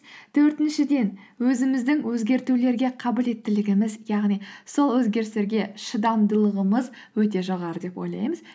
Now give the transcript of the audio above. төртіншіден өзіміздің өзгертулерге қабілеттілігіміз яғни сол өзгерістерге шыдамдылығымыз өте жоғары деп ойлаймыз